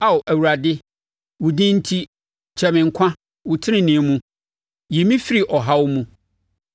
Ao Awurade, wo din enti, kyɛe me nkwa so; wo tenenee mu, yi me firi ɔhaw mu.